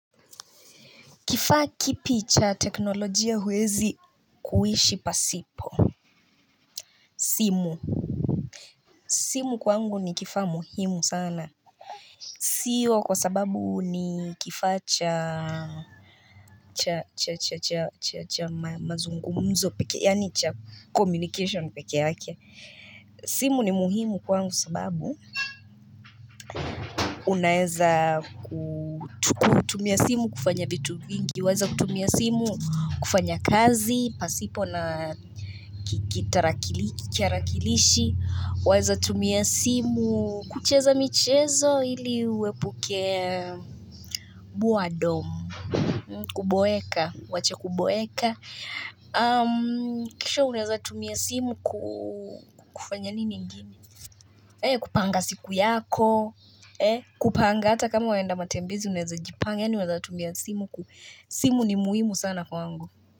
Kifaa kipi cha teknolojia huwezi kuishi pasipo simu simu kwangu ni kifaa muhimu sana Sio kwa sababu ni kifaa cha cha cha cha cha cha cha cha mazungumzo pekee yaani cha communication pekee yake simu ni muhimu kwangu sababu Unaeza kutumia simu kufanya vitu vingi waeza kutumia simu kufanya kazi, pasipo na kitarakilishi Waeza tumia simu kucheza michezo ili uepuke boredom Kuboeka, uwache kuboeka Kisha unaeza tumia simu kufanya nini ingine? Kupanga siku yako, kupanga hata kama waenda matembezi unaeza jipanga Yaani waeza tumia simu ku, simu ni muhimu sana kwangu.